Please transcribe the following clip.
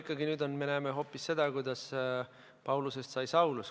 Aga võib-olla me näeme hoopis ikkagi seda, kuidas Paulusest sai Saulus.